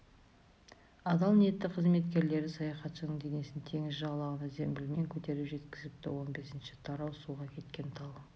адал ниетті қызметкерлері саяхатшының денесін теңіз жағалауына зембілмен көтеріп жеткізіпті он бесінші тарау суға кеткен тал